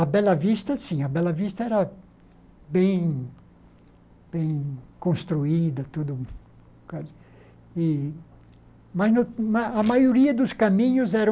A Bela Vista, sim, a Bela Vista era bem bem construída tudo ca e, mas no a a maioria dos caminhos eram